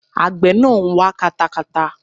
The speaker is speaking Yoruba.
Àgbẹ̀ náà ń wa katakata.